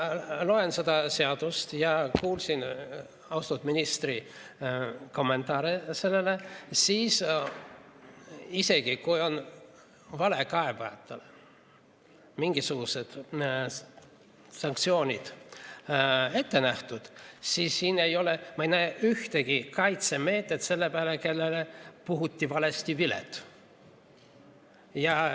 Kui ma loen seda seadust ja kuulsin austatud ministri kommentaare sellele, siis isegi kui on valekaebajatele mingisugused sanktsioonid ette nähtud, siis siin ei ole, ma ei näe ühtegi kaitsemeedet sellele, kellele puhuti valesti vilet.